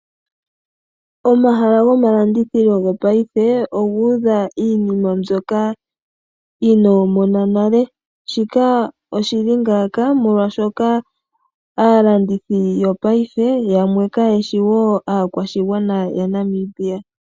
Omahala goma landithilo gopayife oga udha iinima mbyoka inoomona nale. Shika oshili ngaaka molwaashoka aalandithi yopayife yamwe kayeshi wo aakwashigwana ya Namibia.